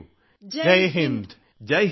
എല്ലാ എൻസിസി കേഡറ്റുകളും ജയ് ഹിന്ദ് സർ